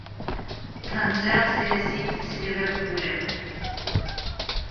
трансляция сити с ливерпулем